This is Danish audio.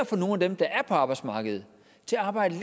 får nogle af dem der er på arbejdsmarkedet til at arbejde